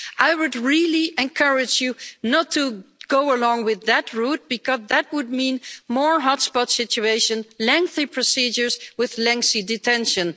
I would really encourage you not to go along with that route because that would mean more hotspot situations and lengthy procedures with lengthy detention.